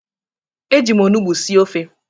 Eji m onugbu sie ofe